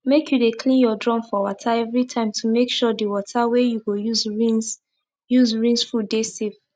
make u dey clean ur drum for water every time to make sure d wata wey u go use rinse use rinse fud dey safe